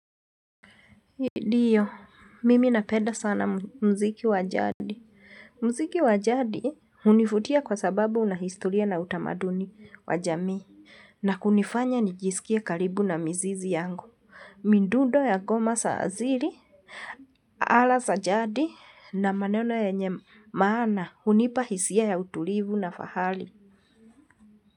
Ndiyo, mimi napenda sana mziki wajadi. Mziki wa jadi hunivutia kwa sababu una historia na utamaduni wa jamii. Na kunifanya nijiskie karibu na mizizi yangu. Midundo ya ngoma za asili, ala za jadi na maneno yenye maana, hunipa hisia ya utulivu na fahali.